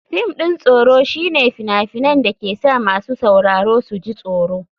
Fim ɗin tsoro shine fina-finan da ke sa masu sauraro su ji tsoro.